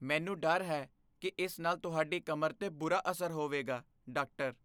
ਮੈਨੂੰ ਡਰ ਹੈ ਕੀ ਇਸ ਨਾਲ ਤੁਹਾਡੀ ਕਮਰ 'ਤੇ ਬੁਰਾ ਅਸਰ ਹੋਵੇਗਾ ਡਾਕਟਰ